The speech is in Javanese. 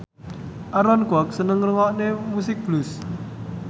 Aaron Kwok seneng ngrungokne musik blues